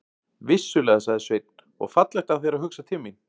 Vissulega, sagði Sveinn, og fallegt af þér að hugsa til mín.